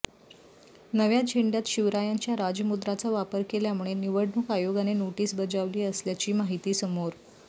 नव्या झेंड्यात शिवरायांच्या राजमुद्राचा वापर केल्यामुळे निवडणुक आयोगाने नोटीस बजाविली असल्याची माहिती समोर